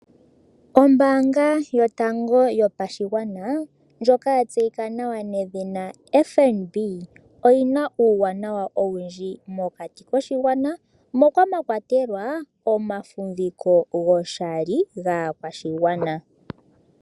Ombaanga yotango yopashigwana ndjoka ya tseyika nawa nedhina FNB oyi na uuwanawa owundji mokati koshigwana moka mwa kwatelwa omafumviko goshali gaakwashigwana.